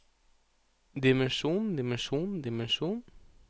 dimensjon dimensjon dimensjon